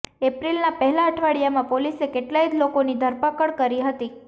એપ્રિલના પહેલા અઠવાડિયામાં પોલીસે કેટલાય લોકોની ધરપકડ કરી હતી